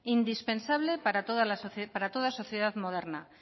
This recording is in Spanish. indispensable para toda sociedad moderna